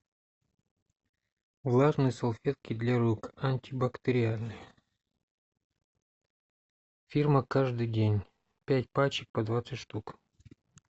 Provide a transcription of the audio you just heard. влажные салфетки для рук антибактериальные фирма каждый день пять пачек по двадцать штук